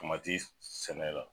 Kuma ti sɛnɛ la.